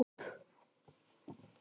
Þar eru skrifstofur núna.